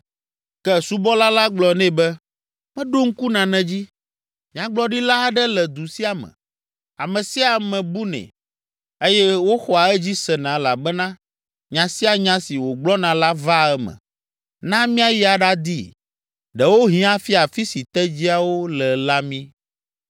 Ke subɔla la gblɔ nɛ be, “Meɖo ŋku nane dzi! Nyagblɔɖila aɖe le du sia me, ame sia ame bunɛ eye woxɔa edzi sena elabena nya sia nya si wògblɔna la vaa eme. Na míayi aɖadii, ɖewohĩ afia afi si tedziawo le la mí.”